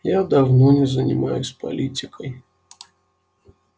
я давно не занимаюсь политикой